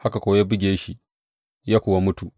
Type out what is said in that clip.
Haka kuwa ya buge shi, ya kuwa mutu.